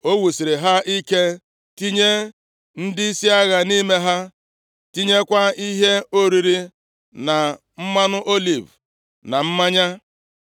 O wusiri ha ike tinye ndịisi agha nʼime ha, tinyekwa ihe oriri na mmanụ oliv na mmanya.